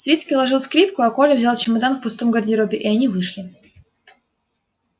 свицкий уложил скрипку а коля взял чемодан в пустом гардеробе и они вышли